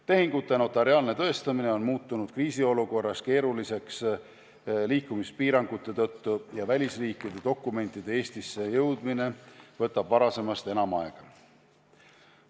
Tehingute notariaalne tõestamine on muutunud kriisiolukorras keeruliseks liikumispiirangute tõttu ja välisriikide dokumentide Eestisse jõudmine võtab varasemast enam aega.